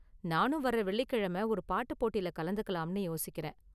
நானும் வர்ற வெள்ளிக்கிழம ஒரு பாட்டு போட்டில கலந்துக்கலாம்னு யோசிக்கிறேன்.